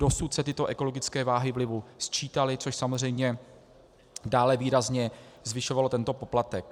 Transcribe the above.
Dosud se tyto ekologické váhy vlivu sčítaly, což samozřejmě dále výrazně zvyšovalo tento poplatek.